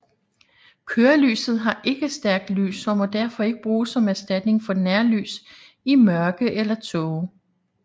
Kørelyset har ikke stærkt lys og må derfor ikke bruges som erstatning for nærlys i mørke eller tåge